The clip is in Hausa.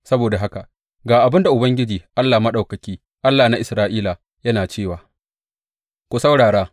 Saboda haka, ga abin da Ubangiji Allah Maɗaukaki, Allah na Isra’ila, yana cewa, Ku saurara!